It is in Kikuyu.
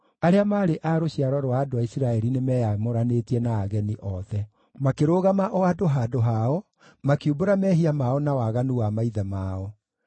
Arĩa maarĩ a rũciaro rwa andũ a Isiraeli nĩmeyamũranĩtie na ageni othe. Makĩrũgama o andũ handũ hao, makiumbũra mehia mao na waganu wa maithe mao.